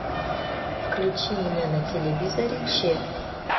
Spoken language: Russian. включи мне на телевизоре че